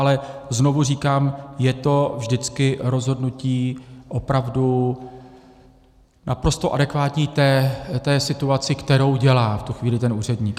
Ale znovu říkám, je to vždycky rozhodnutí opravdu naprosto adekvátní té situaci, kterou dělá v tu chvíli ten úředník.